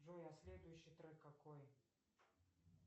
джой а следующий трек какой